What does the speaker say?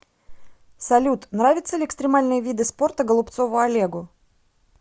салют нравятся ли экстримальные виды спорта голубцову олегу